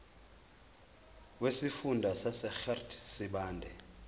wesifunda sasegert sibande